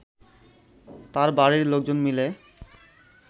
তার বাড়ির লোকজন মিলে